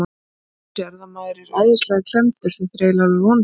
Þú sérð að maður er æðislega klemmdur, þetta er eiginlega alveg vonlaust.